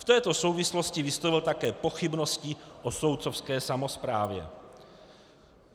V této souvislosti vyslovil také pochybnosti o soudcovské samosprávě.